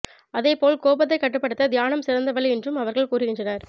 அதேபோல் கோபத்தை கட்டுப்படுத்த தியானம் சிறந்த வழி என்றும் அவர்கள் கூறுகின்றனர்